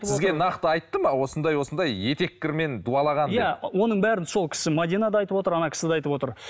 сізге нақты айтты ма осындай осындай етеккірмен дуалаған деп иә оның бәрін сол кісі мадина да айтып отыр кісі де айтып отыр